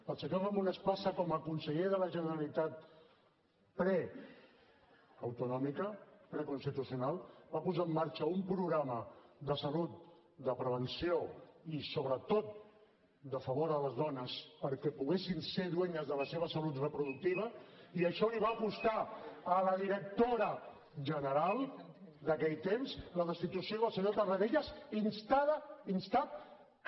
el senyor ramon espasa com a conseller de la generalitat preautonòmica preconstitucional va posar en marxa un programa de salut de prevenció i sobretot de favor a les dones perquè poguessin ser dueñas de la seva salut reproductiva i això li va costar a la directora general d’aquell temps la destitució pel senyor tarradellas instat per